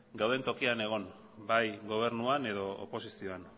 gauden tokian egon bai gobernuan edo oposizioan